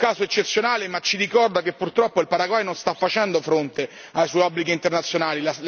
È un caso eccezionale, ma ci ricorda che purtroppo il Paraguay non sta facendo fronte ai suoi obblighi internazionali.